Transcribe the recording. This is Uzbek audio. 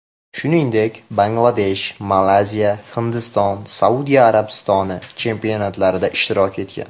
Shuningdek, Bangladesh, Malayziya, Hindiston, Saudiya Arabistoni chempionatlarida ishtirok etgan.